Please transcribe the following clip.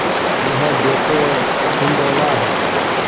यह देखो हिंडोला है